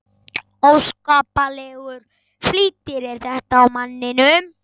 Óskaplegur flýtir er þetta á manninum.